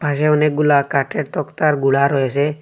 পাশে অনেকগুলা কাঠের তক্তার গুঁড়া রয়েসে।